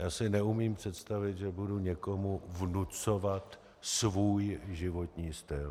Já si neumím představit, že budu někomu vnucovat svůj životní styl.